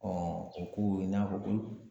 o ko i n'a fɔ ko